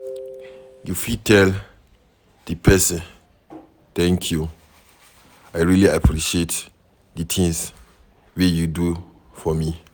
you fit tell di person "Thank you, I really appreciate di things wey you do for me"